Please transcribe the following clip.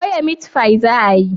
soya mitfai za a yi?